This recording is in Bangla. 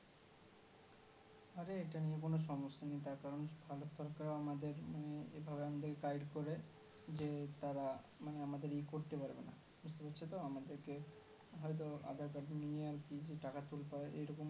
আর এটা নিয়ে কোনো সমস্যা নেই তার কারণ ভারত সরকার আমাদের মানে এভাবে আমাদের Guide করে যে তারা মানে আমাদের ই করতে পারবে না বুজতে পারছো তো আমাদের কে হয়তো aadhar card নিয়ে আরকি যে টাকা তুলতে পারে এরকম